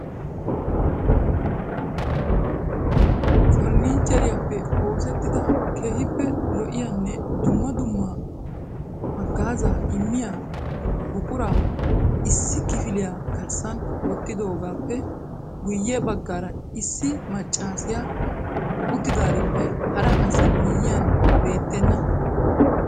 farannicheriyaappe oosettida keehippe lo''iyanne dumma dumma haggaazza immiyaa buquraa issi kifiliyaa garssan wottidoogappe guyye baggaara issi maccassiya uttadaarippe hara asi miyyiyaan beettena.